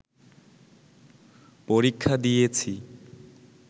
পরীক্ষা দিয়েছি